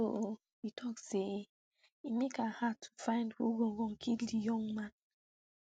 so e tok say e make am hard to find who gangan kill di young man